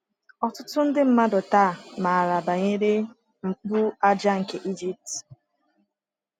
Ọtụtụ ndị mmadụ taa maara banyere Mkpu aja nke Egypt.